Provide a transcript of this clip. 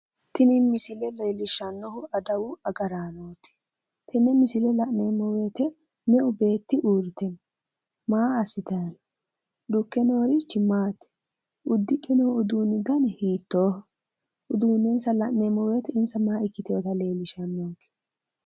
Tini misile leellishshannohu adawu agaraano ikkanna, tenne misile la'neemmo woyiite meu beetti uurrite no? maa assitayi no? uddidhe noorichi maati? uddidhe noo uduunni hiittooho? uduunnensa la'neemmo wooyiite insa maa ikkitewota leellishshawo?